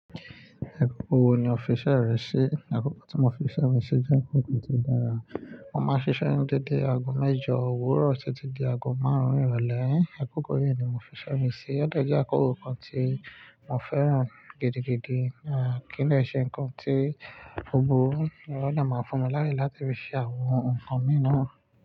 Àkókò wo ni o fiṣẹ́ rẹ sí? Àkókò tí mo fiṣẹ́ mi sí jẹ́ àkókò tí dára. Mo máa ń ṣiṣẹ́ ní dédé aago mẹ́jọ òwúrọ̀ títí di aago márùn-ún ìrọ̀lẹ́. Àkókò yìí ni mo fiṣẹ́ mi sí. Ó deni àkókò kan tí mo fẹ́ràn gidigidi. À kí le ṣe ńkan tí gbogbo ìrọ̀lẹ́ máa ń fún mi láyè láti fi ṣe àwọn nǹkan mi náà.